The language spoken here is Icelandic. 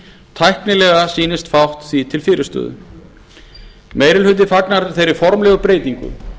tæknilega sýnist fátt því til fyrirstöðu meiri hluti fagnar þeirri formlegu breytingu